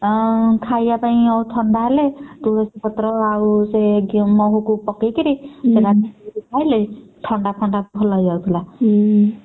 ଅଁ ଖାଇବା ପାଇଁ ଆଉ ଥଣ୍ଡା ହେଲେ ତୁଳସୀ ପତ୍ର ଆଉ ସେ ଗେ~ ମହୁକୁ ପକେଇକିରି ଥଣ୍ଡା ଫଣ୍ଡା ଭଲ ହେଇଯାଉଥିଲା।